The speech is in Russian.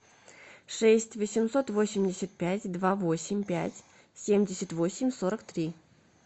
шесть восемьсот восемьдесят пять два восемь пять семьдесят восемь сорок три